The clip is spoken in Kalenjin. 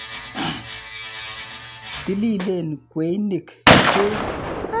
Tililen kweinik chuk.